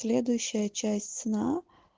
следующая часть сна